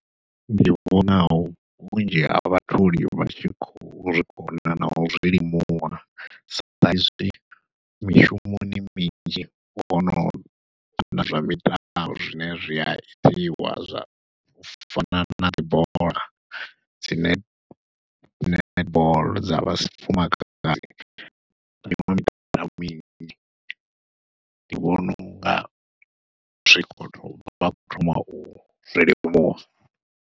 Ndi vhona vhunzhi ha vhatholi vha tshi khou zwi vhona nau zwilimuwa saizwi mishumoni minzhi hono vha na zwa mitambo zwine zwi a itiwa zwa fana na dzi bola dzi ne dzi netball dza vhafumakadzi ndi vhona unga zwikolo vha kho thoma uzwi limuwa.